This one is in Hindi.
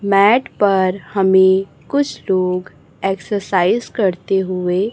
मैट पर हमें कुछ लोग एक्सरसाइज करते हुए--